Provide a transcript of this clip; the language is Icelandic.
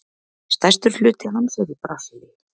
Stærstur hluti hans er í Brasilíu.